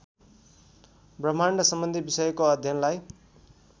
ब्रह्माण्डसम्बन्धी विषयको अध्ययनलाई